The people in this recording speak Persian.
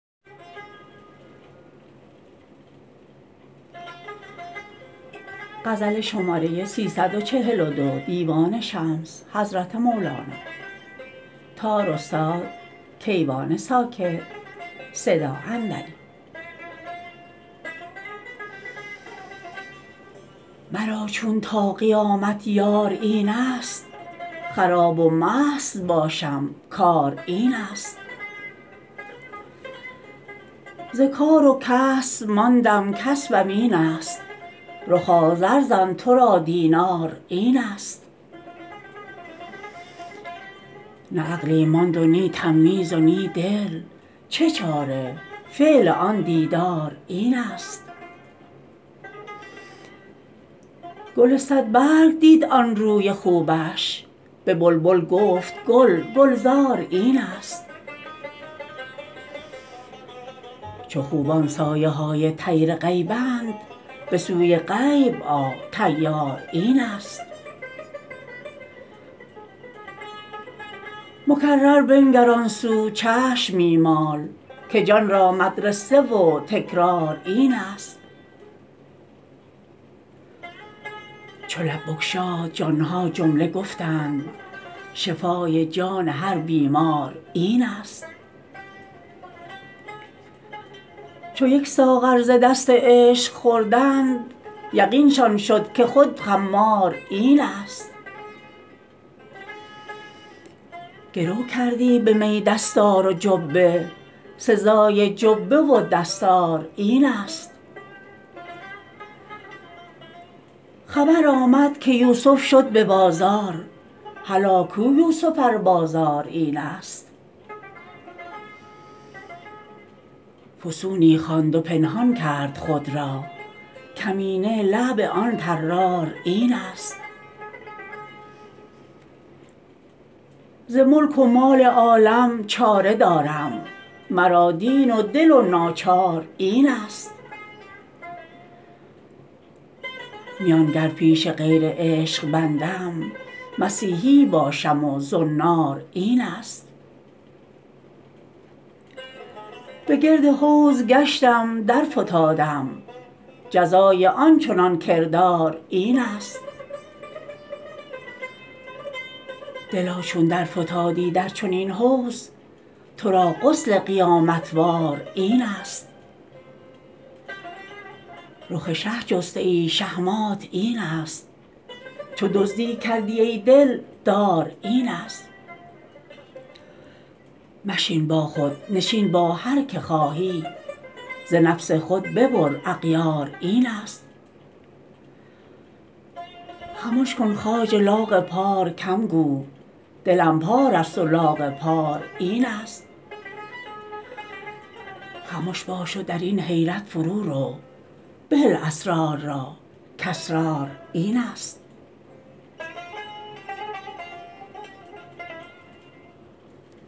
مرا چون تا قیامت یار اینست خراب و مست باشم کار اینست ز کار و کسب ماندم کسبم اینست رخا زر زن تو را دینار اینست نه عقلی ماند و نی تمیز و نی دل چه چاره فعل آن دیدار اینست گل صدبرگ دید آن روی خوبش به بلبل گفت گل گلزار اینست چو خوبان سایه های طیر غیبند به سوی غیب آ طیار این ست مکرر بنگر آن سو چشم می مال که جان را مدرسه و تکرار اینست چو لب بگشاد جان ها جمله گفتند شفای جان هر بیمار اینست چو یک ساغر ز دست عشق خوردند یقینشان شد که خود خمار اینست گرو کردی به می دستار و جبه سزای جبه و دستار اینست خبر آمد که یوسف شد به بازار هلا کو یوسف ار بازار اینست فسونی خواند و پنهان کرد خود را کمینه لعب آن طرار اینست ز ملک و مال عالم چاره دارم مرا دین و دل و ناچار اینست میان گر پیش غیر عشق بندم مسیحی باشم و زنار اینست به گرد حوض گشتم درفتادم جزای آن چنان کردار اینست دلا چون درفتادی در چنین حوض تو را غسل قیامت وار اینست رخ شه جسته ای شهمات اینست چو دزدی کردی ای دل دار اینست مشین با خود نشین با هر که خواهی ز نفس خود ببر اغیار اینست خمش کن خواجه لاغ پار کم گو دلم پاره ست و لاغ پار اینست خمش باش و در این حیرت فرورو بهل اسرار را کاسرار اینست